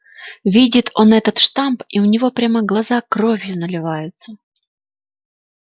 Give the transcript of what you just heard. видит он этот штамп и у него прямо глаза кровью наливаются